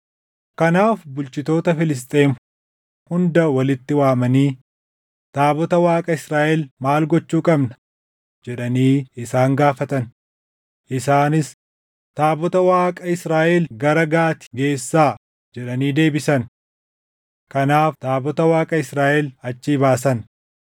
Kanaaf bulchitoota Filisxeem hunda walitti waamanii, “Taabota Waaqa Israaʼel maal gochuu qabna?” jedhanii isaan gaafatan. Isaanis, “Taabota Waaqa Israaʼel gara Gaati geessaa!” jedhanii deebisan. Kanaaf taabota Waaqa Israaʼel achii baasan.